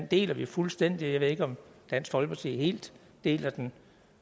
deler vi fuldstændig jeg ved ikke om dansk folkeparti helt deler den